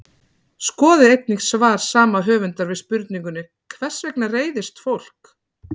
Skoðið einnig svar sama höfundar við spurningunni Hvers vegna reiðist fólk?